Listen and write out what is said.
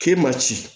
K'e ma ci